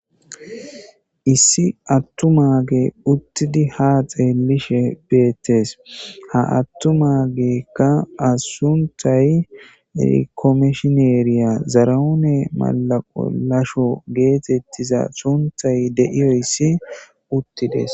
Issi attu maage uttidi ha xeelishe beettes ha attu maagekka asuntay rikomeshineeriya zaraoone malaqolasho geetettiza suntay deiyoyssi uttides